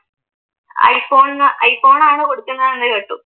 IPhone iPhone ആണ് കൊടുക്കുന്നത് എന്ന് കേട്ടു.